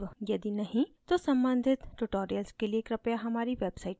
यदि नहीं तो सम्बन्धित tutorials के लिए कृपया हमारी website पर जाएँ